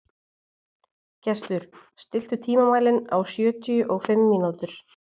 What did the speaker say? Gestur, stilltu tímamælinn á sjötíu og fimm mínútur.